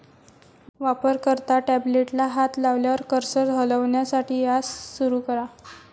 वापरकर्ता टॅबलेटला हात लावल्यावर कर्सर हलवण्यासाठी यास सुरू करा.